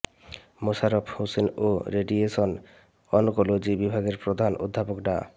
মোশাররফ হোসেন এবং radiation oncology বিভাগের প্রধান অধ্যাপক ডা